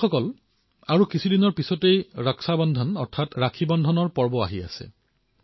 বন্ধুসকল কিছুদিনৰ পিছতেই ৰক্ষা বন্ধনৰ পাবন পৰ্ব আৰম্ভ হব